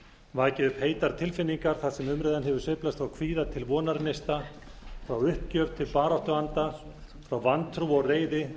vakið upp heitar tilfinningar þar sem umræðan hefur sveiflast frá kvíða til vonarneista frá uppgjöf til baráttuanda frá vantrú og reiði